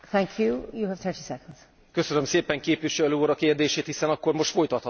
Köszönöm szépen, képviselő úr, a kérdését, hiszen akkor most folytathatom azt, amit az előbb elkezdtem.